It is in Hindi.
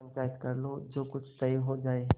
पंचायत कर लो जो कुछ तय हो जाय